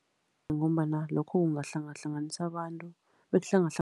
Ngombana lokho kungahlangahlanganisa abantu